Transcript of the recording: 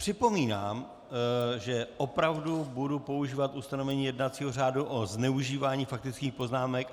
Připomínám, že opravdu budu používat ustanovení jednacího řádu o zneužívání faktických poznámek.